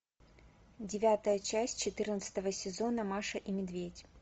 девятая часть четырнадцатого сезона маша и медведь